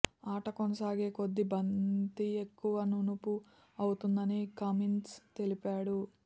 ఆట కొనసాగే కొద్దీ బంతి ఎక్కువ నునుపు అవుతుందని కమిన్స్ తెలిపాడు